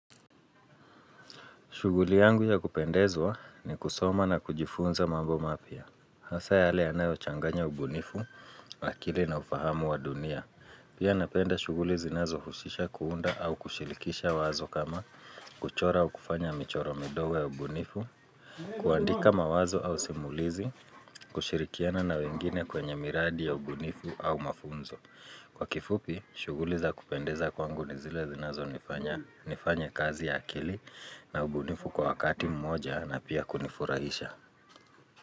Shughuli yangu ya kupendezwa ni kusoma na kujifunza mambo mapya. Hasa yale yanayo changanya ubunifu, akili na ufahamu wa dunia. Pia napenda shughuli zinazo husisha kuunda au kushirikisha wazo kama kuchora au kufanya michoro midogo ya ubunifu. Kuandika mawazo au simulizi, kushirikiana na wengine kwenye miradi ya ubunifu au mafunzo. Kwa kifupi, shughuli za kupendeza kwangu ni zile zinazo nifanya nifanye kazi ya akili na ubunifu kwa wakati mmoja na pia kunifurahisha.